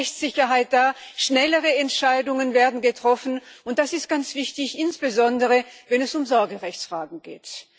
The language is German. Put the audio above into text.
Da besteht mehr Rechtssicherheit, schnellere Entscheidungen werden getroffen, und das ist ganz wichtig, insbesondere, wenn es um Sorgerechtsfragen geht.